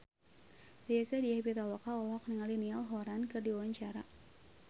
Rieke Diah Pitaloka olohok ningali Niall Horran keur diwawancara